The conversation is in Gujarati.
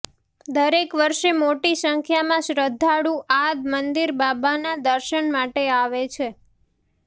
દરેક વર્ષે મોટી સંખ્યામાં શ્રદ્ધાળુ આ મંદિર બાબાના દર્શન માટે આવે છે